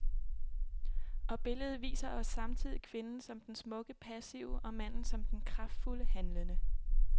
Og billedet viser os samtidig kvinden som den smukke passive og manden som den kraftfulde handlende.